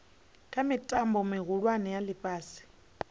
kha mitambo mihulwane ya ifhasi